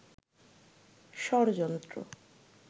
ষড়যন্ত্র